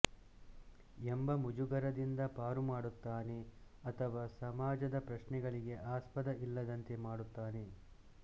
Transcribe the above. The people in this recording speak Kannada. ಎಂಬ ಮುಜುಗರದಿಂದ ಪಾರು ಮಾಡುತ್ತಾನೆ ಅಥವಾ ಸಮಾಜದ ಪ್ರಶ್ನೆಗಳಿಗೆ ಆಸ್ಪದ ಇಲ್ಲದಂತೆ ಮಾಡುತ್ತಾನೆ